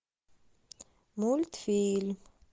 мультфильм